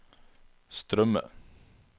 strømme